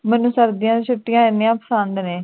ਮੈਨੂੰ ਸਰਦੀ ਦੀਆ ਛੁਟਿਆ ਇੰਨਾ ਪਸੰਦ ਨੇ